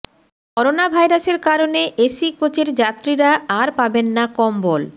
করোনাভাইরাসের কারণে এসি কোচের যাত্রীরা আর পাবেন না কম্বল